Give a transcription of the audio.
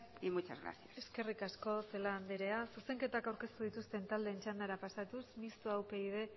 y muchas gracias eskerrik asko celaá anderea zuzenketak aurkeztu dituzten taldeen txandara pasatuz mistoa upyd